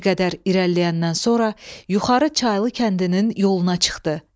Bir qədər irəliləyəndən sonra yuxarı çaylı kəndinin yoluna çıxdı.